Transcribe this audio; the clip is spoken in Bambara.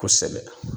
Kosɛbɛ